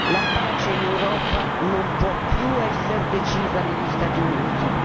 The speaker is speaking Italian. La pace in Europa non può più essere decisa negli Stati Uniti.